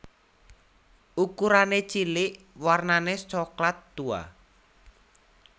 Ukurané cilik warnane soklat tua